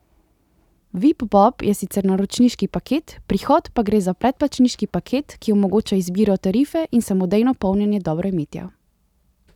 Vip bob je sicer naročniški paket, pri Hot pa gre za predplačniški paket, ki omogoča izbiro tarife in samodejno polnjenje dobroimetja.